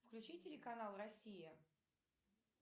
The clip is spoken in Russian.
включи телеканал россия